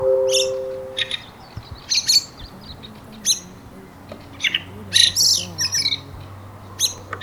Idan kuma kana wani aiki, to dole fa ka tsaya ka lura